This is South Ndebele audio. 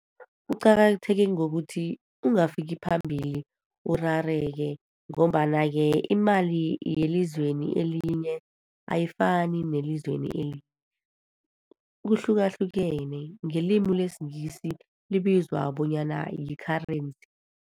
Kuqakatheke ngokuthi ungafiki phambili urareke, ngombana-ke imali yelizweni elinye, ayifani neyelizweni kuhlukahlukene, ngelimi lesingisi libizwa bonyana yi-currency.